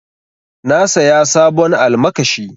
Na saya sabon almakashi.